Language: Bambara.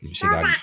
I bɛ se ka